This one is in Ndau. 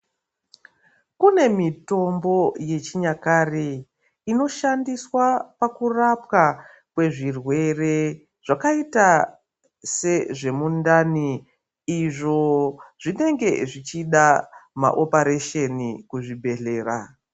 Kune mitombo yechinyakare inoshandiswa pakurapwa kwezvirwere zvakaita sezvemundani. Izvo zvinenge zvichida maoparesheni kuzvibhehlera.